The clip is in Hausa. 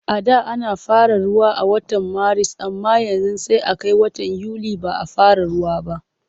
A da ana fara ruwa a watan Maris amma yanzu sai a kai watan Yuli ba a fara ruwa ba.